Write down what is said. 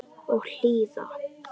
Og hlýða.